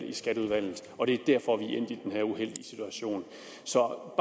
i skatteudvalget og det er derfor vi er kommet i den her uheldige situation så